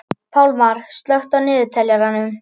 Pálmar, slökktu á niðurteljaranum.